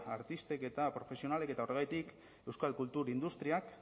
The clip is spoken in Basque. artistek eta profesionalek eta horregatik euskal kultur industriak